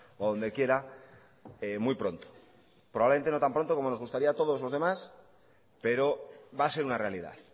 o donde quiera muy pronto probablemente no tan pronto como nos gustaría a todos los demás pero va a ser una realidad